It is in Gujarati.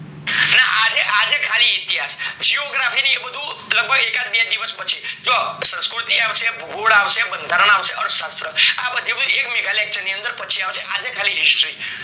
ને આજે આજે ખાલી ઈતિહાસ, geography ને એ બધું એક આડ બે દિવસ પછી જો સંસ્કૃતિ આવશે ભૂગોળ આવશે બંધારણ આવશે અર્થ્શાત્ર એ બધું mega lecture માં પાચ આવશે આજે ખાલી history